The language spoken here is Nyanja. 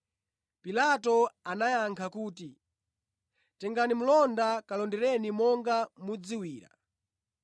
Pilato anayankha kuti, “Tengani mlonda kalondereni monga mudziwira.”